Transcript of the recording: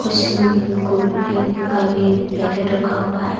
कुछ कुरकुरे का भी पैकेट रखा हुआ है।